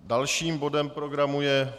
Dalším bodem programu je